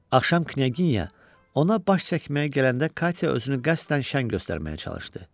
Axşam Knyaginya ona baş çəkməyə gələndə Katya özünü qəsdən şən göstərməyə çalışdı.